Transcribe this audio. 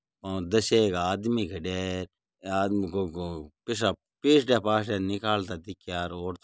ओ दसेक आदमी खड्या है ए आदमी को को पैसा पीसडया पासडिया निकालता दिख्या और तो --